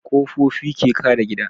Ƙofofi ke kare gida